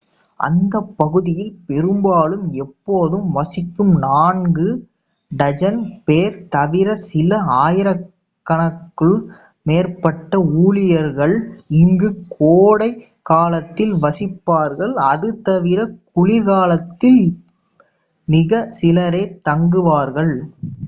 அந்தப் பகுதியில் பெரும்பாலும் எப்போதும் வசிக்கும் நான்கு4 டஜன் பேர் தவிர சில ஆயிரங்களுக்கு மேற்பட்ட ஊழியர்கள் இங்கு கோடைக்காலத்தில் வசிப்பார்கள்; அது தவிர குளிர்காலத்தில் மிக சிலரே தங்குவார்கள்